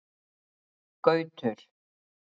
Gautur